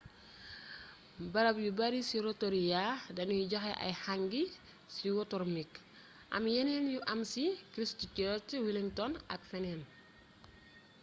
barab yu bare ci rotorua danuy joxe ay hangi sewotermik am yeneen yu am ci christchurch wellington ak feneen